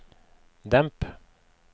demp